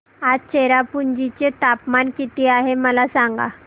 आज चेरापुंजी चे तापमान किती आहे मला सांगा